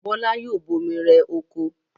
Bọ́lá yoo bomi rẹ oko.